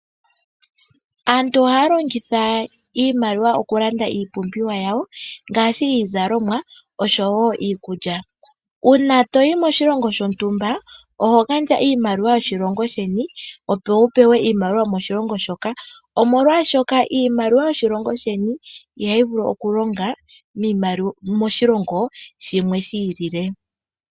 Aantu ohaya longitha iimaliwa okulanda iipumbiwa yawo ngaashi iizalomwa, osho wo iikulya. Uuna to yi moshilongo shontumba oho gandja iimaliwa yoshilongo sheni, opo wu pewe iimaliwa yomoshilongo shoka, molwashoka iimaliwa yoshilongo sheni ihayi vulu okulonga moshilongo shilwe shi ilile.